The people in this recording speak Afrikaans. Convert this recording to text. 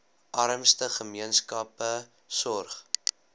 armste gemeenskappe sorg